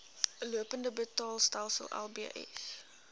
lopende betaalstelsel lbs